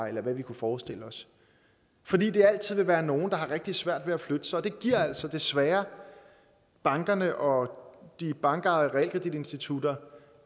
eller hvad vi kunne forestille os fordi der altid vil være nogle der har rigtig svært ved at flytte sig og det giver altså desværre bankerne og de bankejede realkreditinstitutter